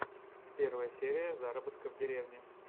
первая серия заработка в деревне